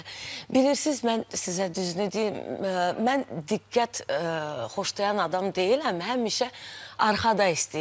Bilirsiz mən sizə düzünü deyim, mən diqqət xoşlayan adam deyiləm, həmişə arxada istəyirdim olmaq.